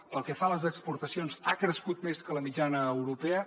pel que fa a les exportacions ha crescut més que la mitjana europea